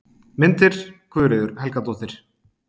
Myndir: Guðríður Helgadóttir.